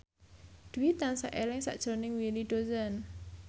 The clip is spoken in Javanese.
Dwi tansah eling sakjroning Willy Dozan